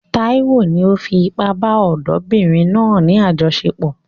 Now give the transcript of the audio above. Taiwo ni ó fi ipá bá ọ̀dọ́mọbìnrin náà ní àjọṣepọ̀.